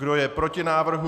Kdo je proti návrhu?